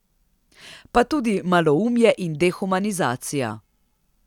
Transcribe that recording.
Pa tudi maloumje in dehumanizacija.